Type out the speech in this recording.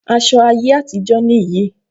Aṣọ ayé àtijó nì yí.